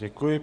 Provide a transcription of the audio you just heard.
Děkuji.